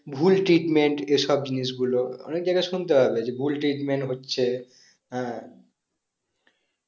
ভুল treatment এসব জিনিস গুলো অনেক জায়গায় শুনতে পাবে যে ভুল treatment হচ্ছে হ্যাঁ